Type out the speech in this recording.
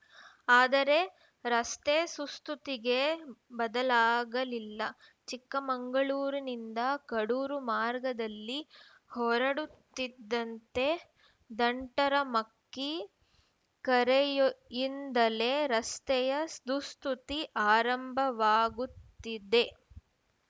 ಆದರೆ ರಸ್ತೆ ಸುಸ್ತುತಿಗೆ ಬದಲಾಗಲಿಲ್ಲ ಚಿಕ್ಕಮಗಳೂರಿನಿಂದ ಕಡೂರು ಮಾರ್ಗದಲ್ಲಿ ಹೊರಡುತ್ತಿದ್ದಂತೆ ದಂಟರಮಕ್ಕಿ ಕರೆಯಿಂದಲೇ ರಸ್ತೆಯ ದುಸ್ತುತಿ ಆರಂಭವಾಗುತ್ತದೆ